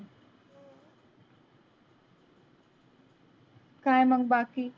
काय मग बाकी?